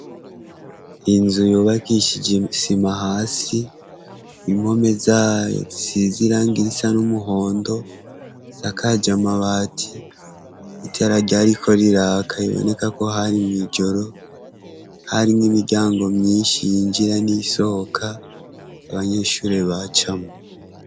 Inzu yubakishije sima hasi impome za tsizira ngirisa n'umuhondo sakaje amabati itararyariko r iraka iboneka ko hari mw'ijoro hari mw imiryango myinshi yinjira n'isoka abanyeshuri bacu camo.